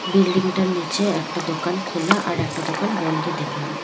বিল্ডিংটার নীচে একটা দোকান খোলা আর একটা দোকান বন্ধ দেখলাম।